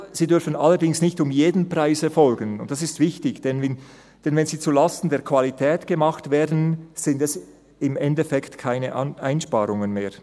Sie dürfen allerdings nicht um jeden Preis erfolgen, und dies ist wichtig, denn wenn sie zulasten der Qualität gemacht werden, sind es im Endeffekt keine Einsparungen mehr.